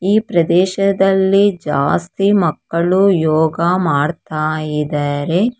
ಈ ಪ್ರದೇಶದಲ್ಲಿ ಜಾಸ್ತಿ ಮಕ್ಕಳು ಯೋಗ ಮಾಡ್ತಾ ಇದ್ದಾರೆ.